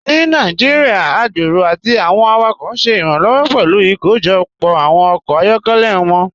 Ní Nàìjíríà, agbérò àti awọn awakọ ṣẹ iranlọwọ pẹ̀lú ikóójọpọ awọn ọkọ ayọkẹlẹ wọn.